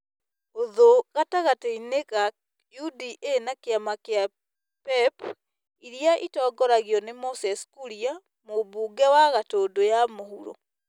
Ũthũ gatagatĩ ka UDA na kĩama kĩa PEP ĩrĩa ĩtongoragio nĩ Moses Kuria, mũmbunge wa Gatũndũ ya mũhuro.